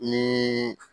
Ni